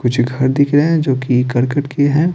कुछ घर दिख रहे हैं जो कि करकट के हैं।